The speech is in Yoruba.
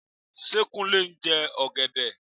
Ṣé Kúnlé ń jẹ ọ̀gẹ̀dẹ?